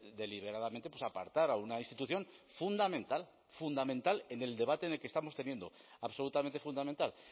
deliberadamente apartar a una institución fundamental fundamental en el debate en el que estamos teniendo absolutamente fundamental